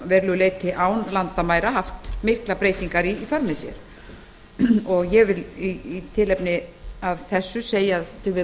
verulegu leyti án landamæra haft miklar breytingar í för með sér ég vil í tilefni af þessu bæta því við